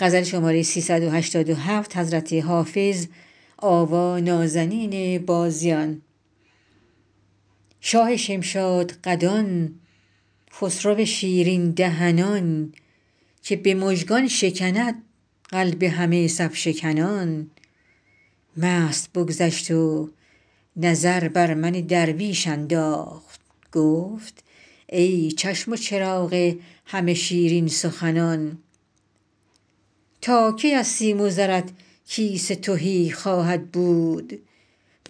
شاه شمشادقدان خسرو شیرین دهنان که به مژگان شکند قلب همه صف شکنان مست بگذشت و نظر بر من درویش انداخت گفت ای چشم و چراغ همه شیرین سخنان تا کی از سیم و زرت کیسه تهی خواهد بود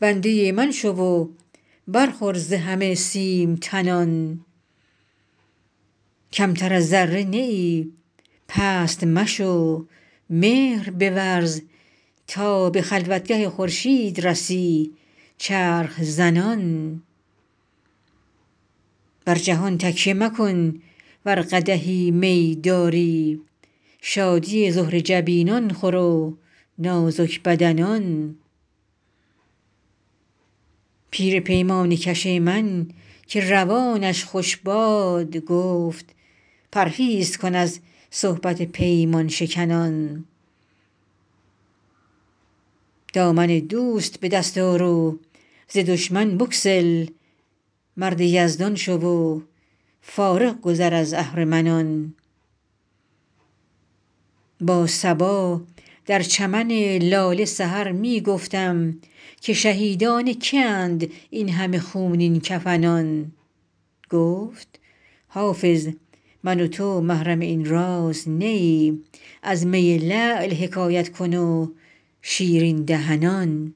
بنده من شو و برخور ز همه سیم تنان کمتر از ذره نه ای پست مشو مهر بورز تا به خلوتگه خورشید رسی چرخ زنان بر جهان تکیه مکن ور قدحی می داری شادی زهره جبینان خور و نازک بدنان پیر پیمانه کش من که روانش خوش باد گفت پرهیز کن از صحبت پیمان شکنان دامن دوست به دست آر و ز دشمن بگسل مرد یزدان شو و فارغ گذر از اهرمنان با صبا در چمن لاله سحر می گفتم که شهیدان که اند این همه خونین کفنان گفت حافظ من و تو محرم این راز نه ایم از می لعل حکایت کن و شیرین دهنان